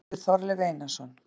Bækur eftir Þorleif Einarsson